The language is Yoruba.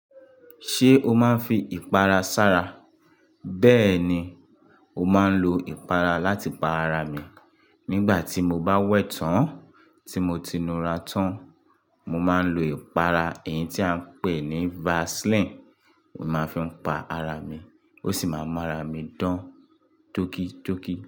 Ṣé o máa ń fi ìpara sára? Bẹ́ẹ̀ni, mo máa ń lo ìpara láti pa ara mi. Nígbà tí mo bá wẹ̀ tán tí mo ti nura tán, mo máa ń lo ìpara, èyí tí à ń pè ní Vaseline. Mo máa ń fi pa ara mi, ó sì máa ń mu ara mi dán tóki tóki.